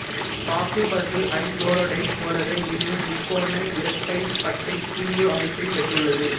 பாசுபரசு ஐங்குளோரைடைப் போலவே இதுவும் முக்கோண இரட்டைப்பட்டைக்கூம்பு அமைப்பைப் பெற்றுள்ளது